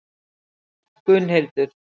Gunnhildur